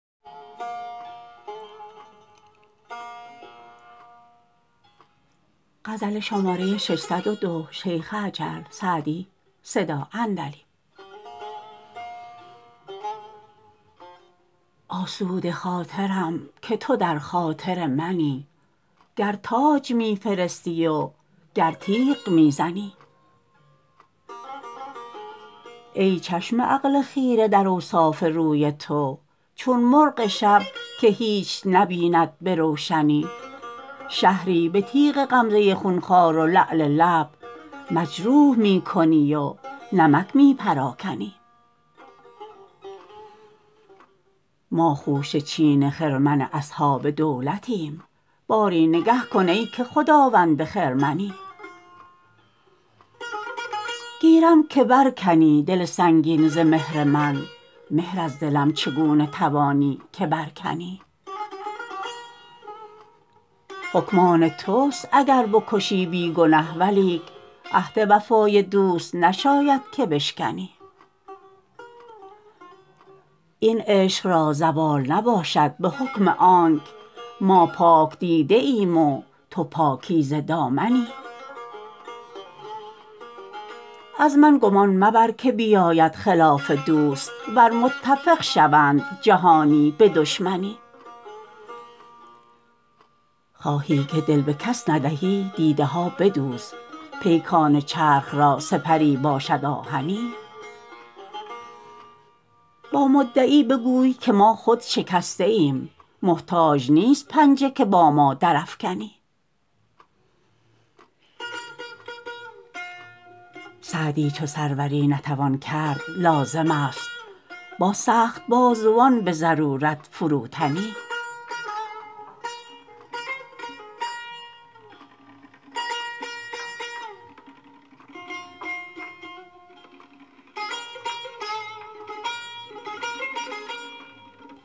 آسوده خاطرم که تو در خاطر منی گر تاج می فرستی و گر تیغ می زنی ای چشم عقل خیره در اوصاف روی تو چون مرغ شب که هیچ نبیند به روشنی شهری به تیغ غمزه خونخوار و لعل لب مجروح می کنی و نمک می پراکنی ما خوشه چین خرمن اصحاب دولتیم باری نگه کن ای که خداوند خرمنی گیرم که بر کنی دل سنگین ز مهر من مهر از دلم چگونه توانی که بر کنی حکم آن توست اگر بکشی بی گنه ولیک عهد وفای دوست نشاید که بشکنی این عشق را زوال نباشد به حکم آنک ما پاک دیده ایم و تو پاکیزه دامنی از من گمان مبر که بیاید خلاف دوست ور متفق شوند جهانی به دشمنی خواهی که دل به کس ندهی دیده ها بدوز پیکان چرخ را سپری باشد آهنی با مدعی بگوی که ما خود شکسته ایم محتاج نیست پنجه که با ما درافکنی سعدی چو سروری نتوان کرد لازم است با سخت بازوان به ضرورت فروتنی